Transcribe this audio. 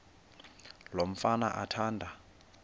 lo mfana athanda